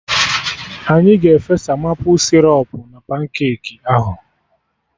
Anyị ga-efesa maple sịrọp na pancake ahụ